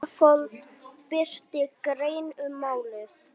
Ísafold birti grein um málið